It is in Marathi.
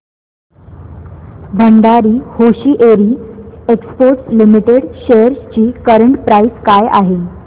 Bhandari hosiery exports limited shares ची करंट प्राइस काय आहे